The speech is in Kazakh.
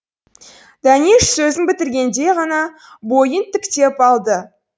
дәнеш сөзін бітіргенде ғана бойын тіктеп алды